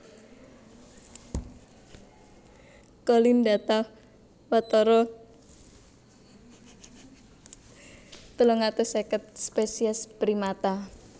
Colin ndata watara telung atus seket spesies primata